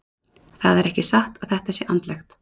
Það er ekki satt að þetta sé andlegt.